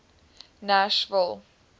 nashville